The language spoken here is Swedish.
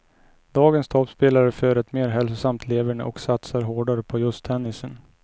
Dagens toppspelare för ett mer hälsosamt leverne, och satsar hårdare på just tennisen.